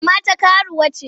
Kama ta karuwa ce!